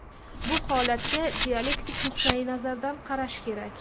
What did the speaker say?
Bu holatga dialektik nuqtayi nazardan qarash kerak.